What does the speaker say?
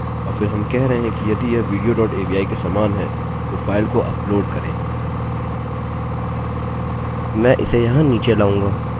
और फिर हम कह रहे हैं कि यदि यह विडियो डॉट avi के समान है तो फाइल को अपलोड करें